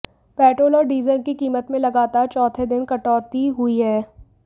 petrol और diesel की कीमत में लगातार चौथे दिन कटौती हुई है